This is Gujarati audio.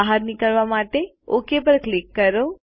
બહાર નીકળવા માટે ઓક પર ક્લિક કરો